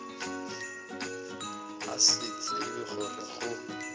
a sa tsebe gore go